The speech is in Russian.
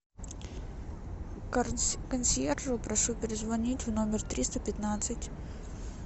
консьержу прошу перезвонить в номер триста пятнадцать